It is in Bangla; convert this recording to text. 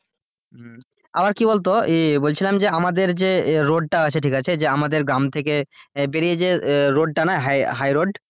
আবার কি বলতো এ কি বলছিলাম আমাদের যে road তা আছে ঠিক আছে যে আমাদের গ্রাম থেকে বেরিয়ে যে road না high road